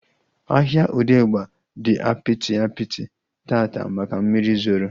Ahịa Odegba dị apịtị apịtị taata maka mmiri zoro